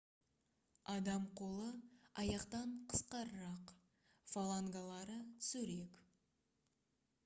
адам қолы аяқтан қысқарақ фалангалары түзурек